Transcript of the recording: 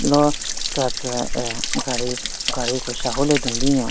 lo tsatsü aah gari gari ku shahu le dun binyon.